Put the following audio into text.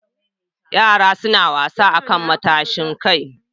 Yara suna son wasa akan matashin kai.